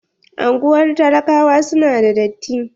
Anguwar talakawa su na da datti.